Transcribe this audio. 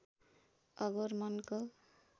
अघोर मनको